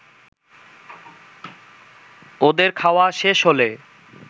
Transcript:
ওদের খাওয়া শেষ হলে